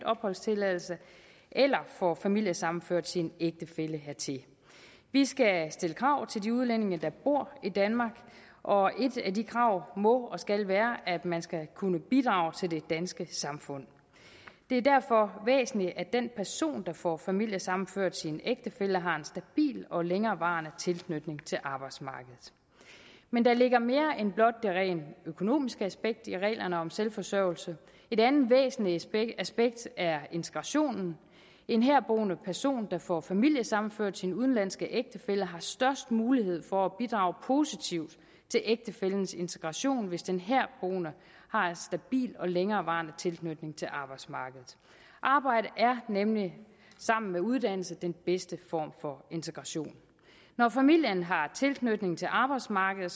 opholdstilladelse eller får familiesammenført sin ægtefælle hertil vi skal stille krav til de udlændinge der bor i danmark og et af de krav må og skal være at man skal kunne bidrage til det danske samfund det er derfor væsentligt at den person der får familiesammenført sin ægtefælle har en stabil og længerevarende tilknytning til arbejdsmarkedet men der ligger mere end blot det rent økonomiske aspekt i reglerne om selvforsørgelse et andet væsentligt aspekt er integrationen en herboende person der får familiesammenført sin udenlandske ægtefælle har størst mulighed for at bidrage positivt til ægtefællens integration hvis den herboende har en stabil og længerevarende tilknytning til arbejdsmarkedet arbejde er nemlig sammen med uddannelse den bedste form for integration når familien har tilknytning til arbejdsmarkedet